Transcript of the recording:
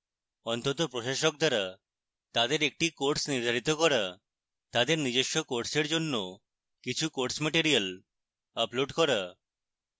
অন্তত প্রশাসক দ্বারা তাদের একটি course নির্ধারিত করা